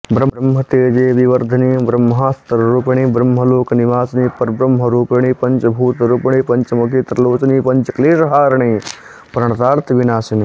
ब्रह्मतेजो विवर्धिनि ब्रह्मास्त्ररूपिणि ब्रह्मलोक निवासिनि परब्रह्मरूपिणि पञ्चभूतरूपिणि पञ्चमुखि त्रिलोचनि पञ्चक्लेश हारिणि प्रणतार्तिविनाशिनि